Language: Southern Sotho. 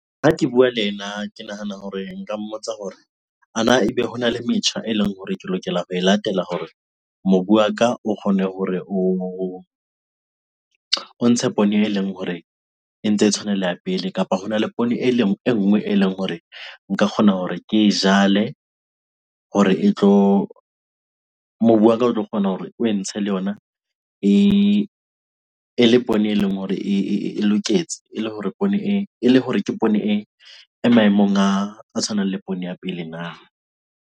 Ha ke bua le ena, ke nahana hore nka mmotsa hore ana ebe hona le metjha eleng hore ke lokela ho e latela hore mobu wa ka o kgone hore o ntshe poone eleng hore e ntse e tshwana le ya pele. Kapa hona le poone eleng, e nngwe eleng hore nka kgona hore ke e jale hore e tlo, mobu waka o tlo kgona hore oe ntshe le yona e le poone eleng hore e loketse. E le hore poone e, e le hore ke poone e maemong a tshwanang le poone ya pele na?